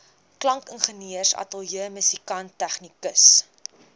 klankingenieur ateljeemusikant tegnikus